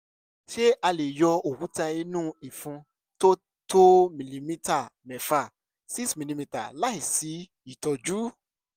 ṣé a lè yọ òkúta inú ìfun tí ó tó mìlímítà mẹ́fà six milimetre láìsí ìtọ́jú?